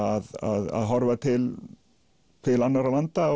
að horfa til til annarra landa